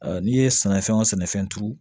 n'i ye sɛnɛfɛn wo sɛnɛfɛn turu